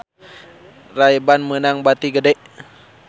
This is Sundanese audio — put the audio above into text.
Ray Ban meunang bati gede